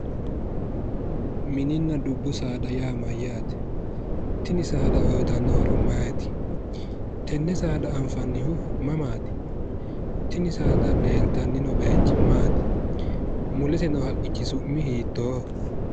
Mininna dubbu saada yaa mayyaate? Tini saada uyitanno horo maati? Tenne saada anfannihu mamaati. Tini saada leeltannino bayichi maati? Mulese noo haqqichi su'mi hiittooho?